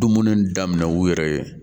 Dumuni daminɛ u yɛrɛ ye